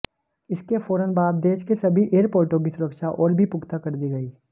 इसके फौरन बाद देश के सभी एयरपोर्टों की सुरक्षा और भी पुक्ता कर दी गई